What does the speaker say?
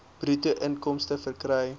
bruto inkomste verkry